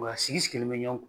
Wa a sigi sigilen be ɲɔgɔn kan